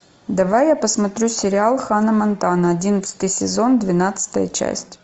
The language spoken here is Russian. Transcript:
давай я посмотрю сериал ханна монтана одиннадцатый сезон двенадцатая часть